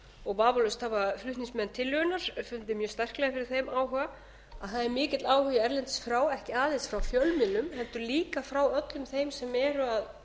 og vafalaust hafa flutningsmenn tillögunnar fundið mjög sterklega fyrir þeim áhuga að það er mikill áhugi erlendis frá ekki aðeins frá fjölmiðlum heldur líka frá öllum þeim sem eru að